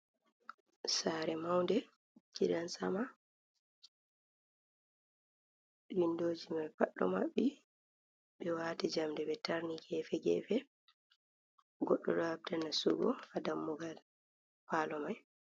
Sare maude gidan sama windoji mai pad ɗo mabbi ɓe wati jamde ɓe tarni gefe gefe goddo ɗo habɗa nasugo ha dammugal palo mai.